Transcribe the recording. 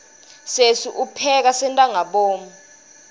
sesi upheka sentangabomu